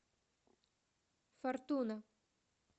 фортуна